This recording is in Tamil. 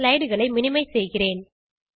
slideகளை மினிமைஸ் செய்கிறேன்